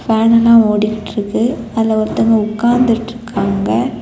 ஃபேன்லாம் ஒடிட்டுருக்கு அதுல ஒருத்தங்க உட்காந்துட்டுருக்காங்க.